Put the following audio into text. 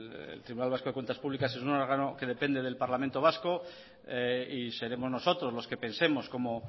el tribunal vasco de cuentas públicas es un órgano que depende del parlamento vasco y seremos nosotros los que pensemos cómo